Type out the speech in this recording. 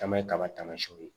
Caman ye kaba tamasiyɛnw ye